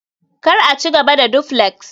kar a ci gaba da duflex